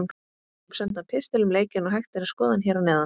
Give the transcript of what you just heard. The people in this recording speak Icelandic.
Við fengum sendan pistil um leikinn og hægt er að skoða hann hér að neðan.